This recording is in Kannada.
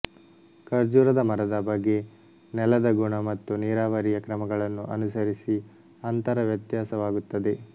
ಖರ್ಜೂರದ ಮರದ ಬಗೆ ನೆಲದ ಗುಣ ಮತ್ತು ನೀರಾವರಿಯ ಕ್ರಮಗಳನ್ನು ಅನುಸರಿಸಿ ಅಂತರ ವ್ಯತ್ಯಾಸವಾಗುತ್ತದೆ